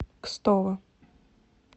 кстово